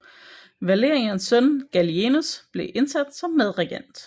Valerians søn Gallienus blev indsat som medregent